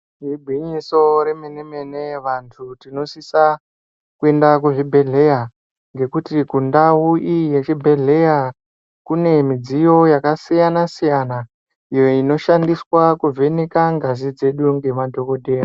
Igwinyiso remene mene vantu tinosisa kuenda kuzvibhedhleya ngekuti kundau iyi yechibhedhleya kune midziyo yakasiyana siyana iyo inoshandiswa kuvheneka ngazi dzedu ngemadhokodheya.